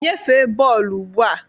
Nyefee bọọlụ ugbu a!